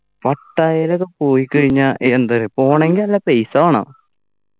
പട്ടായെലൊക്കെ പോയിക്കഴിഞ്ഞാ ഏർ എന്താ പോണെങ്കി നല്ല പൈസ വേണം